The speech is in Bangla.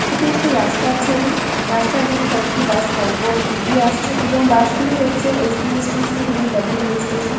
এটি একটি রাস্তার ছবি। রাস্তা দিয়ে কয়েকটি বাস পর পর এগিয়ে আসছে এবং বাস গুলি হচ্ছে এস.বি.এস.টি.সি. এবং ডাব্লু.বি.এস.টি.সি. ।